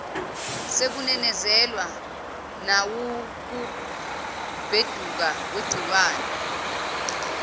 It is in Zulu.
sekunezezelwa nawukubheduka kwegciwane